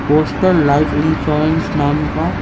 postal life insurance नाम का--